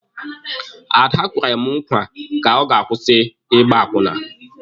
Ada kwere mụ nkwa ka ọ ga-akwụsị ịgba akwụna.